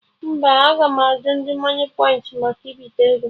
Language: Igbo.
Mba, aga m ajụ ndị moniepoint maka ibite ego